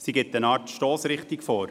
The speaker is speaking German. Sie gibt eine Art Stossrichtung vor.